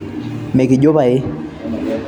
mekijo pae